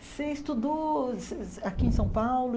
Você estudou se se aqui em São Paulo?